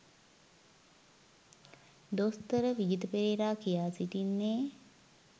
දොස්තර විජිත පෙරේරා කියා සිටින්නේ.